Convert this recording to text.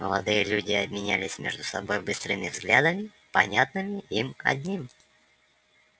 молодые люди обменялись между собой быстрыми взглядами понятными им одним